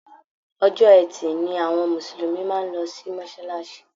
Ọjọ́ Etì ni àwọn mùsùlùmí máa ń lọ sí mọ́sálásí